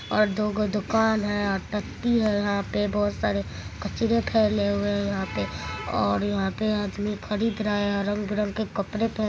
और दो गो दुकान है और यहाँ पर बहुत सारे कचरे फैले हुए है यहाँ पे और यहाँ पे आदमी खरीद रहा है यहाँ रंग बिरंग के कपड़े पहने --